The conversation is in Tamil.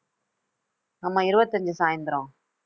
ஆமா, இருபத்தஞ்சு சாய்ந்தரம்